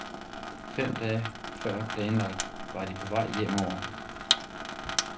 Fem dage før planlagt var de på vej hjemover.